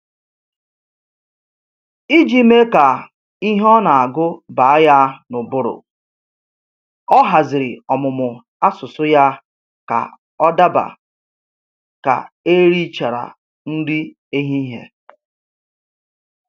Iji mee ka ihe ọ na-agụ baa ya n'ụbụrụ, ọ haziri ọmụmụ asụsụ ya ka ọ daba ka e richara nri ehihie